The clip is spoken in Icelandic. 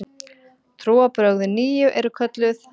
Trúarbrögðin nýju eru kölluð